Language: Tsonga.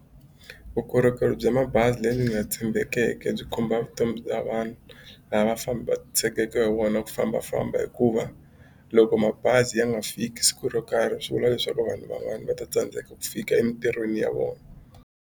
Vukorhokeri bya mabazi lebyi nga tshembekeke byi khumba vutomi bya vanhu lava famba tshegeke hi wona ku fambafamba hikuva loko mabazi ya nga fiki siku ro karhi swi vula leswaku vanhu van'wani va ta tsandzeka ku fika emitirhweni ya vona.